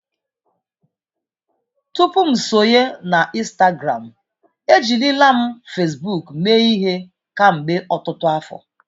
Tupu m sonye na Instagramụ, ejirila m Fesbuuk mee ihe kemgbe ọtụtụ afọ.